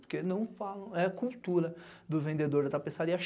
Porque não falam, é cultura do vendedor da tapeçaria.